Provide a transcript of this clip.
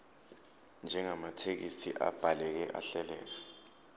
njengamathekisthi abhaleke ahleleka